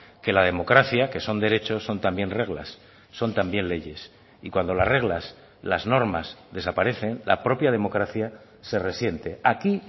que la democracia que son derechos son también reglas son también leyes y cuando las reglas las normas desaparecen la propia democracia se resiente aquí